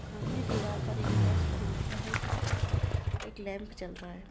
सामने दीवार पर एक क्रॉस बना हुआ है जिसके पास एक लॅम्प जल रहा है।